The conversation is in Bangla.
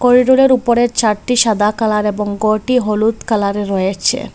করিডোরের উপরের ছাদটি সাদা কালার এবং গরটি হলুদ কালার -এর রয়েছে।